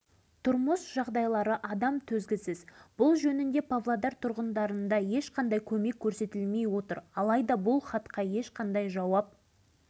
сынақтың салдарынан тозаңның көлемі әдеттегі қалыптан еседей асып түскендігін соның салдарынан тоғыз жүз